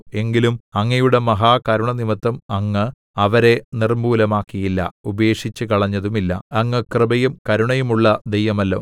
എങ്കിലും അങ്ങയുടെ മഹാകരുണ നിമിത്തം അങ്ങ് അവരെ നിർമ്മൂലമാക്കിയില്ല ഉപേക്ഷിച്ചുകളഞ്ഞതുമില്ല അങ്ങ് കൃപയും കരുണയുമുള്ള ദൈവമല്ലോ